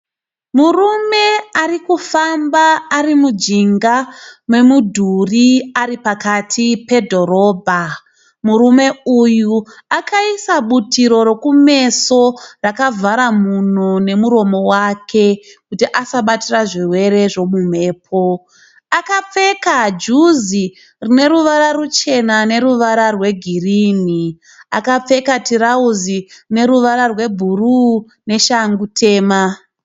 Murume ari kufamba ari mujinga memudhuri ari pakati pedhorobha. Murume uyu akaisa butiro rokumeso rakavhara mhuno nemuromo wake kuti asabatira zvirwere zvemumhepo. Akapfeka juzi rine ruvara ruchena neruvara rwegirinhi. Akapfeka tirauzi rine ruvara rwebhuruu neshangu tema.